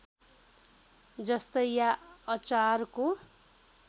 जस्तै या अचारको